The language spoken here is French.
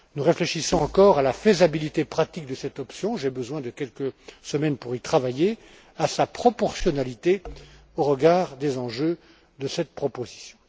Nous réfléchissons encore à la faisabilité pratique de cette option j'ai besoin de quelques semaines pour y travailler à sa proportionnalité au regard des enjeux de cette proposition.